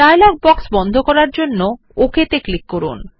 dialogue box বন্ধ করার জন্য ওক তে ক্লিক করুন